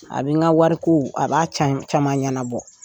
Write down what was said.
A bi n ka wariko a b'a ca caman ɲɛnanabɔ.